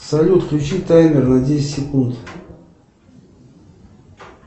салют включи таймер на десять секунд